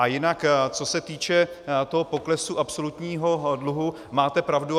A jinak co se týče toho poklesu absolutního dluhu, máte pravdu.